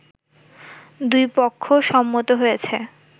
দুই পক্ষ সম্মত হয়েছে